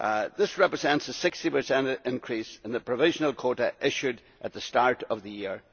This represents a 60 increase in the provisional quota issued at the start of the year.